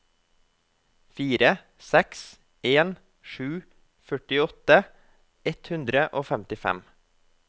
fire seks en sju førtiåtte ett hundre og femtifem